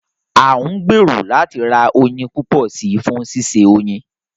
À ń gbèrò láti ra oyin púpọ̀ si fún ṣíṣe oyin